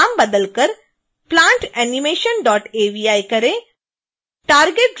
नाम बदलकर plantanimationavi करें